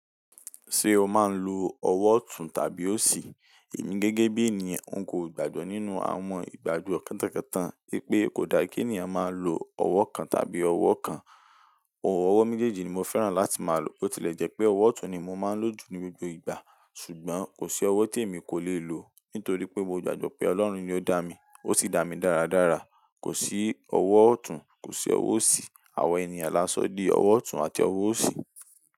Ṣé o máa ń lo ọwọ́ ọ̀tún tàbí òsì? Emí gẹ́gẹ́ bí i eniyan nkò gbàgbọ́ nínú àwọn ìgbàgbọ́ kantankantán, pé kò da kí ènìyàn máa lo ọwọ́ kan tàbí ọwọ́ kan. Ọwọ́ méjèèjì ni mo fẹ́ràn láti máa lo. Ó ti lẹ̀ jẹ́ pé ọwọ́ ọ̀tún ni mo máa ń lò jù ní gbogbo ìgbà, ṣùgbọ́n kò sí ọwọ́ tí èmi kò le lo, nítorí pé mo gbàgbọ́ pé Ọlọ́run ni ó dá mi, ó sì dá mi dáradára. Kò sí ọwọ́ ọ̀tún, kò sí ọwọ́ òsì. Àwọn ènìyàn là á sọ di ọwọ́ ọ̀tún àti ọwọ́ òsì.